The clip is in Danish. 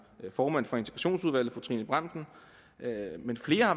formand for integrationsudvalget fru trine bramsen